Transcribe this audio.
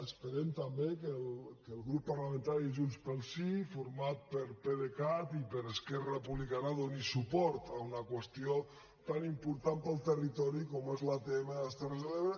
esperem també que el grup parlamentari junts pel sí format per pdecat i per esquerra republicana doni suport a una qüestió tan important per al territori com és l’atm de les terres de l’ebre